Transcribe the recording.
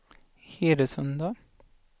Hedesunda